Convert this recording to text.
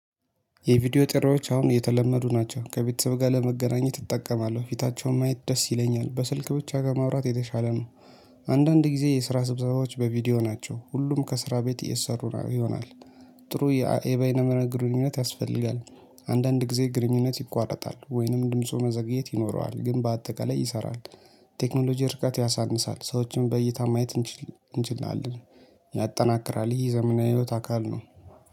የቪዲዮ ጥሪዎች አሁን የተለመዱ ናቸው ከቤተሰብ ጋር ለመገናኘት እጠቀማለሁ ፊታቸውን ማየት ደስ ይለኛል በስልክ ብቻ ከማውራት የተሻለ ነው። አንዳንድ ጊዜ የስራ ስብዘባዎች በቪዲዮ ናቸው ሁሉም ከስራ ቤት እየተሰሩ ይሆናል። ጥሩ የበይነ መረብ ግርኝነት ያስፈልጋል። አንዳንድ ጊዜ ግንኙነት ይቋረጣል ወይንም ድምፁ መዘግየት ይኖረዋል ግን በአጠቃላይ ይሰራል። ቴክኖሎጂ ርቀት ያሳንሳል ሰዎችን በእይታ ማየት እንችላለን። ያጠናክራል ይህ ዘመናዊ ህይወት አካል ነው